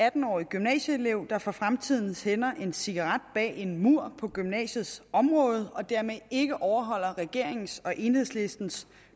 atten årig gymnasieelev der for fremtiden tænder en cigaret bag en mur på gymnasiets område og dermed ikke overholder regeringens og enhedslistens